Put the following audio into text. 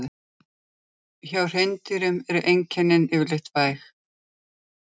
Hjá hreindýrum eru einkennin yfirleitt væg.